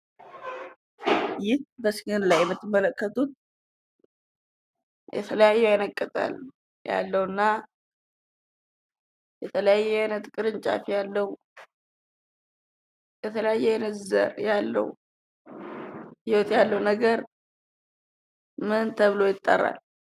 ይህ በምስሉ ላይ የምትመለከቱት የተለያዩ አይነት ቅጠል፣ ያለው እና የተለያየ አይነት ቅርንጫፍ ፣ የተለያዩ አይነት ዘር ያለው ነገር ምን ተብሎ ይጠራል?